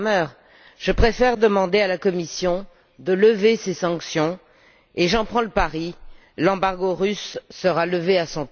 Cramer, je préfère demander à la Commission de lever ces sanctions. Et, j'en prends le pari, l'embargo russe sera levé à